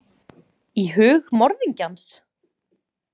Í hug morðingjans?